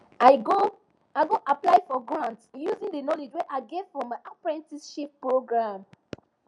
i go i go apply for grants using the knowledge wey i get from my apprenticeship programme